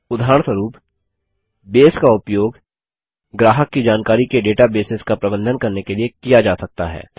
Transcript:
उदाहरणस्वरूप बेस का उपयोग ग्राहक की जानकारी के डेटाबेसेस का प्रबंधन करने के लिए किया जा सकता है